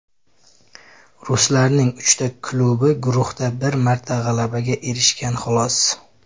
Ruslarning uchta klubi guruhda bir marta g‘alabaga erishgan, xolos.